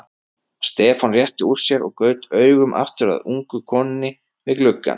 Stefán rétti úr sér og gaut augum aftur að ungu konunni við gluggann.